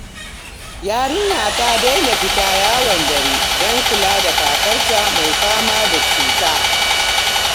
Yarinya ta daina fita yawon dare don kula da kakarta mai fama da cuta.